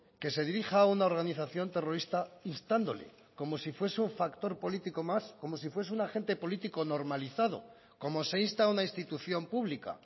que se dirija a una organización terrorista instándole como si fuese un factor político más como si fuese un agente político normalizado como se insta a una institución pública